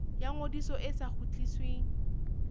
ya ngodiso e sa kgutlisweng